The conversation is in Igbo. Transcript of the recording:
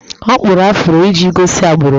Ọ kpụrụ afro iji gosi agbụrụ ya